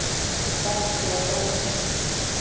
Balti og Börkur!